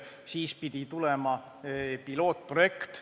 Siis pidi tulema pilootprojekt.